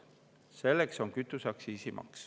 Selleks on kütuseaktsiis.